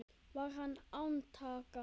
Var hann án átaka.